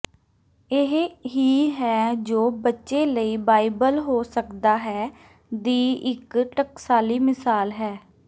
ਇਹ ਹੀ ਹੈ ਜੋ ਬੱਚੇ ਲਈ ਬਾਈਬਲ ਹੋ ਸਕਦਾ ਹੈ ਦੀ ਇੱਕ ਟਕਸਾਲੀ ਮਿਸਾਲ ਹੈ